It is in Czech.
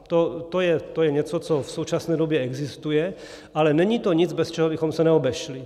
To je něco, co v současné době existuje, ale není to nic, bez čeho bychom se neobešli.